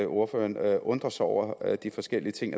ordføreren undrer sig over de forskellige ting